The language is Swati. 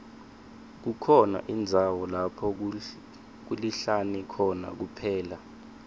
kukhona indzawo lapho kulihlane khona kuphela